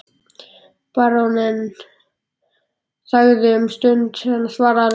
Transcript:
Baróninn þagði um stund en svaraði loks